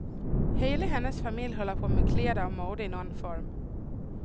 Hela hennes familj håller på med kläder och mode i någon form.